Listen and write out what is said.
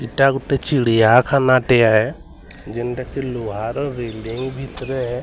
ଏଟା ଗୁଟେ ଚିଡ଼ିଆ ଖାନା ଟେ ଯେନ୍ତା କି ଲୁହାର ବିଲଡିଂ ଭିତରେ --